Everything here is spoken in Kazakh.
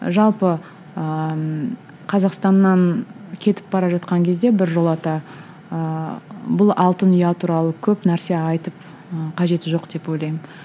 ы жалпы ыыы қазақстаннан кетіп бара жатқан кезде біржолата ыыы бұл алтын ұя туралы көп нәрсе айтып ы қажеті жоқ деп ойлаймын